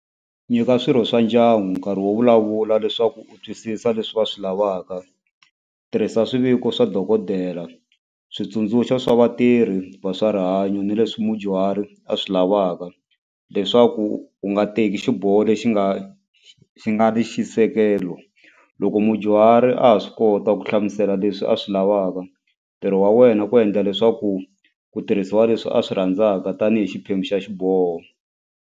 Nyika swirho swa ndyangu nkarhi wo vulavula leswaku u twisisa leswi va swi lavaka tirhisa swiviko swa dokodela switsundzuxo swa vatirhi va swa rihanyo ni leswi mudyuhari a swi lavaka leswaku u nga teki xiboho lexi nga xi nga ri xisekelo loko mudyuhari a ha swi kota ku hlamusela leswi a swi lavaka ntirho wa wena ku endla leswaku ku tirhisiwa leswi a swi rhandzaka tanihi xiphemu xa xiboho.